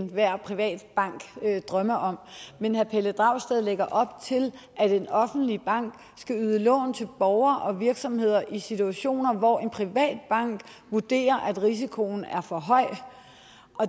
enhver privat bank drømmer om men herre pelle dragsted lægger op til at en offentlig bank skal yde lån til borgere og virksomheder i situationer hvor en privat bank vurderer at risikoen er for høj